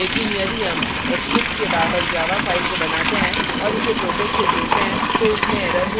लेकिन यदि हम eclipse के बाहर java file को बनाते हैं और इसे project से जोडते हैं तो उसमें error हो सकती है